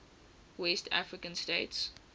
west african states